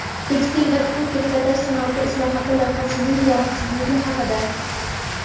Tekstil va tikuv-trikotaj sanoati islohoti loyihasining yaroqsizligi haqida.